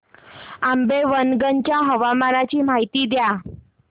आंबेवंगन च्या हवामानाची माहिती द्या